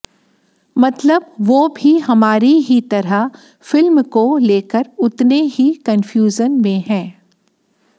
मतलब वो भी हमारी ही तरह फिल्म को लेकर उतने ही कन्फ्यूजन में हैं